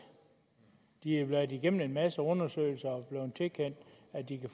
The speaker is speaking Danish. de har været igennem en masse undersøgelser